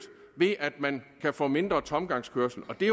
ved at man kan få mindre tomgangskørsel og det